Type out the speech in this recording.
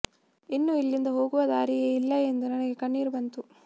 ಇನ್ನು ಇಲ್ಲಿಂದ ಹೋಗುವ ದಾರಿಯೇ ಇಲ್ಲ ಎಂದು ನನಗೆ ಕಣ್ಣೀರು ಬಂತು